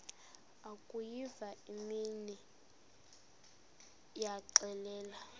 akuyiva inimba waxelela